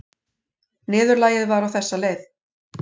Niðurlagið var á þessa leið